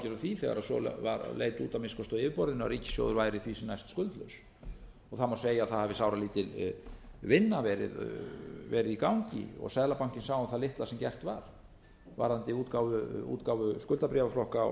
því þegar svo leit að minnsta kosti svo út á yfirborðinu að ríkissjóður væri því sem næst skuldlaus það má segja að það hafi sáralítil vinna verið í gangi og seðlabankinn sá um það litla sem gert var varðandi útgáfu skuldabréfaflokka og